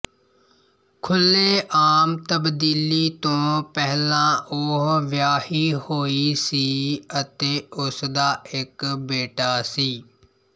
ਖੁੱਲ੍ਹੇਆਮ ਤਬਦੀਲੀ ਤੋਂ ਪਹਿਲਾਂ ਉਹ ਵਿਆਹੀ ਹੋਈ ਸੀ ਅਤੇ ਉਸਦਾ ਇੱਕ ਬੇਟਾ ਸੀ